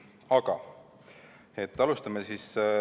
Aga alustame.